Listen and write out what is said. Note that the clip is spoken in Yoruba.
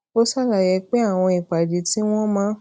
ó ṣàlàyé pé àwọn ìpàdé tí wón máa